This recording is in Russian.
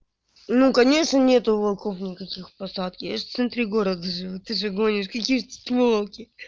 ну конечно нет волков никаких в посадке яж в центре города ты что гонишь какие тут волки